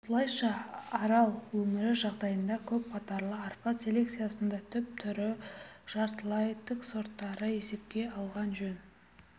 осылайша арал өңірі жағдайында көп қатарлы арпа селекциясында түп түрі жартылай тік сорттарды есепке алған жөн